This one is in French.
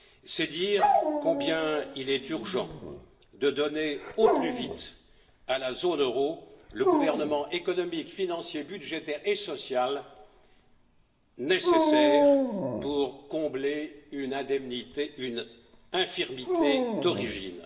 C'est dire combien il est urgent de donner au plus vite à la zone euro le gouvernement économique, financier, budgétaire et social nécessaire pour combler une infirmité d'origine.